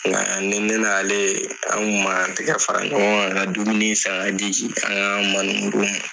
Nka ne n'ale tan kun b'an tɛgɛ fara ɲɔgɔn ka dumuni san k'a di ma.